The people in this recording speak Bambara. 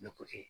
Ne ko